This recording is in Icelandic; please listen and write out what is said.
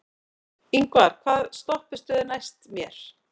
Yngvar, hvaða stoppistöð er næst mér?